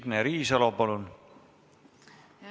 Signe Riisalo, palun!